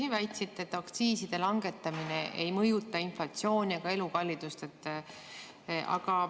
Te väitsite, et aktsiiside langetamine ei mõjuta inflatsiooni ega elukallidust.